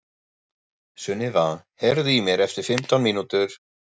Sunniva, heyrðu í mér eftir fimmtán mínútur.